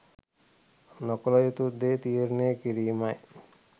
නොකළ යුතු දේ තීරණය කිරීම යි.